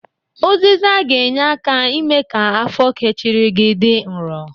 Ụzịza ga-enye aka ime ka afọ kechiri gi dị nrọ.